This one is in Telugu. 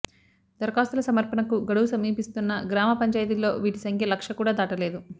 దర ఖాస్తుల సమర్పణకు గడువు సమీపిస్తున్నా గ్రామ పంచాయతీల్లో వీటి సంఖ్య లక్ష కూడా దాటలేదు